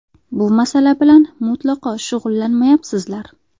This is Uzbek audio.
Bu masala bilan mutlaqo shug‘ullanmayapsizlar.